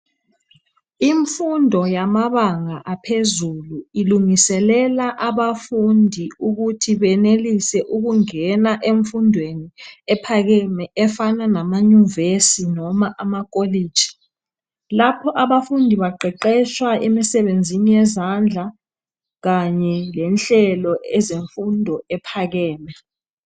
Imfundo yamabanga aphezulu ilungiselela abafundi ukuthi benelise ukungena emfundweni ephakeme efana namanyuvesi noma amakolitshi. Lapho abafundi baqeqetshwa emisebenzini yezandla kanye lenhlelo ezemfundo ephakeme.